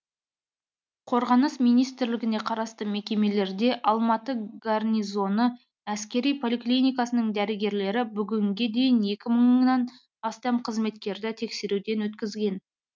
қорғаныс министрлігіне қарасты мекемелерде алматы горнизоны әскери поликлиникасының дәрігерлері бүгінге дейін екі мыңнан астам қызметкерді тексеруден өткізген